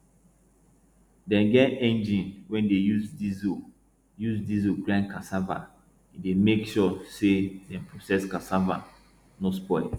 dem get engine wey dey use diesel use diesel grind cassava e dey make sure say dem process cassava no spoil